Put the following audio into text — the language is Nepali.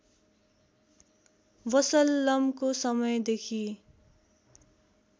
वसल्लमको समय देखि